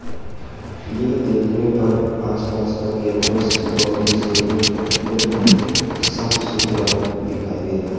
यह देखने पर आसपास का कैंपस बहुत ही सुंदर और बहुत ही साफ सुथरा दिखाई दे रहा--